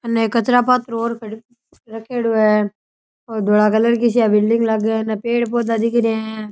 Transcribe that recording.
उन्हें कचरा पात्र और रखेड़ो है और धोला कलर की सी या बिल्डिंग लागे अन पेड़ पौधा दिख रे है।